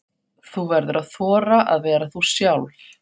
Þú verður að þora að vera þú sjálf.